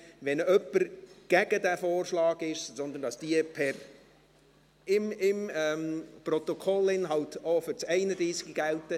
Wenn jemand gegen den Vorschlag ist, dass diese Abstimmungen im Protokoll auch für das Traktandum 31 gelten …